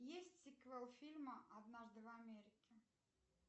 есть сиквел фильма однажды в америке